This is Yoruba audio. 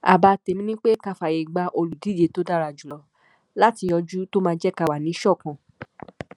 àbá tèmi ni pé ká fààyè gba olùdíje tó dára jù lọ láti yọjú tó máa jẹ ká wà níṣọkan